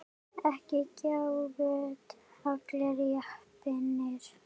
Ekki gáfust allir Japanir upp.